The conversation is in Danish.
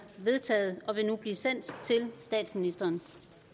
vedtaget og vil nu blive sendt til statsministeren